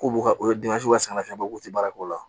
K'u ka o ka sɛgɛnnafiɲɛbɔ k'u tɛ baara k'o la